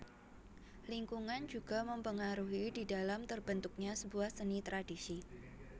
Lingkungan juga mempengaruhi didalam terbentuknya sebuah seni tradisi